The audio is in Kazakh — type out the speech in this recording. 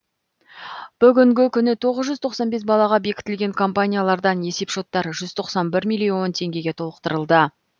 бүгінгі күні тоғыз жүз тоқсан бес балаға бекітілген компаниялардан есепшоттары жүз тоқсан бір миллион теңгеге толықтырылды